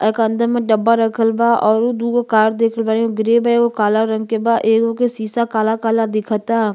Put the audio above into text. एक अंद में डब्बा रखल बा औरु दूगो कार देखल बानी ग्रे बा एगो काला रंग के बा एगो के सीसा काला-काला दिखता।